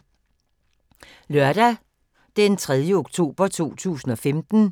Lørdag d. 3. oktober 2015